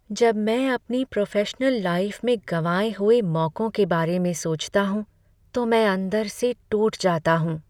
जब मैं अपनी प्रोफेशनल लाइफ़़ में गँवाए हुए मौकों के बारे में सोचता हूं तो मैं अंदर से टूट जाता हूँ।